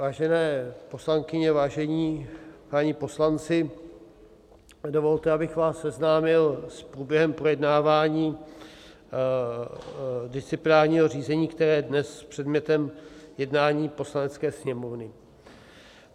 Vážené poslankyně, vážení páni poslanci, dovolte, abych vás seznámil s průběhem projednávání disciplinárního řízení, které je dnes předmětem jednání Poslanecké sněmovny.